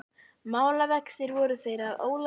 Málavextir voru þeir að Ólafur nokkur